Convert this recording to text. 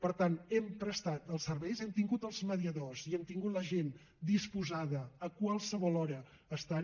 per tant hem prestat els serveis hem tingut els mediadors i hem tingut la gent disposada a qualsevol hora a estar hi